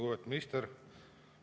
Lugupeetud minister!